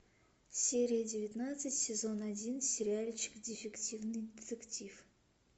серия девятнадцать сезон один сериальчик дефективный детектив